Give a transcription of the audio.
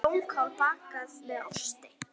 Blómkál bakað með osti